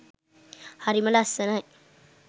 හරිම ලස්සනයි.